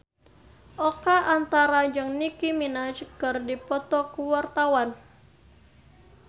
Oka Antara jeung Nicky Minaj keur dipoto ku wartawan